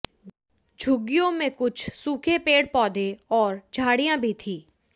झुग्गियों में कुछ सूखे पेड़ पौधे और झाड़ियां भी थीं